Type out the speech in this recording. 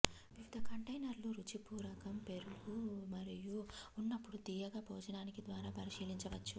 వివిధ కంటైనర్లు రుచి పూరకం పెరుగు మరియు ఉన్నప్పుడు తీయగా భోజనానికి ద్వారా పరిశీలించవచ్చు